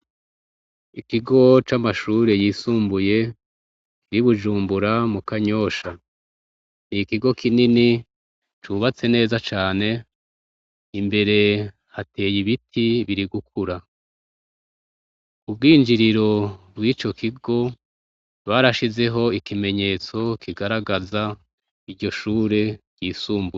Ikigo c'amashure yisumbuye y'i Bujumbura mu Kanyosha. Ikigo kinini cubatse neza cane imbere hateye ibiti biri gukura. Mu bwinjiriro bw'ico kigo barashizeho ikimenyetso kigaragaza iryo shure ryisumbuye.